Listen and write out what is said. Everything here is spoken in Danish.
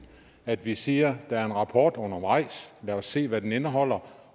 at vi siger at der er en rapport undervejs lad os se hvad den indeholder